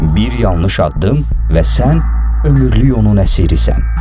Bir yanlış addım və sən ömürlük onun əsirisən.